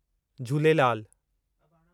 Jhulelal